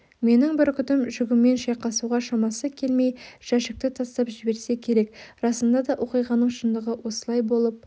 менің бүркітім жүгімен шайқасуға шамасы келмей жәшікті тастап жіберсе керек расында да оқиғаның шындығы осылай болып